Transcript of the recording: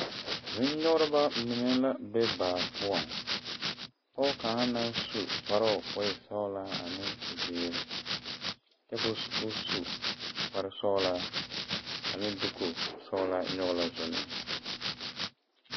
Zunyɔgereba mine la be baa poɔ Pɔge kaŋ naŋ su kpaare ka o e sõɔle ka o zeŋe ne kyɛ ka o su kpaare sõɔla ane dekosõɔla.